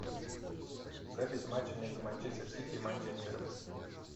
запись матча между манчестер сити и манчестером